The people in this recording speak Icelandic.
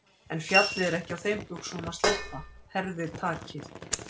En fjallið er ekki á þeim buxunum að sleppa, herðir takið.